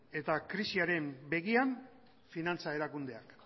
eta krisiaren begian finantza erakundeak